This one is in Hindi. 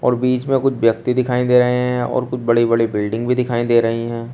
और बीच में कुछ व्यक्ति दिखाई दे रहे हैं और कुछ बड़ी बड़ी बिल्डिंग भी दिखाई दे रही हैं।